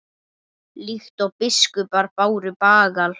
líkt og biskupar báru bagal